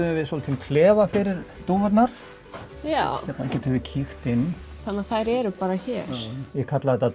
innréttuðum við lítinn klefa fyrir dúfurnar hérna getum við kíkt inn þannig að þær eru bara hér ég kalla þetta